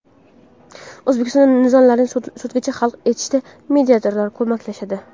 O‘zbekistonda nizolarni sudgacha hal etishda mediatorlar ko‘maklashadi.